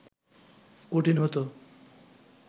কঠিন হত